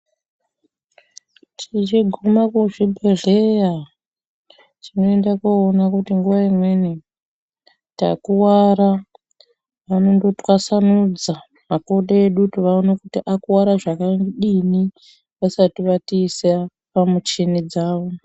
Tichiguma kuzvibhedhleya tinoenda koona kuti nguwa imweni takuwara, vanondotwasanudza makodo edu kuti vaone kuti akuvara zvakadini vasati vatiisa pamuchini dzavo.